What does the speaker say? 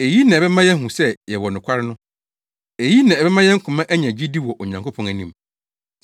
Eyi na ɛbɛma yɛahu sɛ yɛwɔ nokware no. Eyi na ɛbɛma yɛn koma anya gyidi wɔ Onyankopɔn anim.